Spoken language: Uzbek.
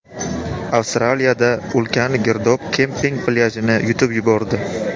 Avstraliyada ulkan girdob kemping plyajini yutib yubordi.